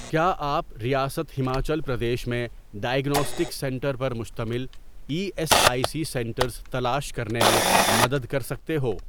کیا آپ ریاست ہماچل پردیش میں ڈائیگناسٹک سینٹر پر مشتمل E S I C centres تلاش کرنے میں مدد کر سکتے ہو؟